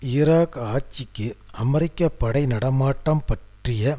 Iraq ஆட்சிக்கு America படை நடைமாட்டம் பற்றிய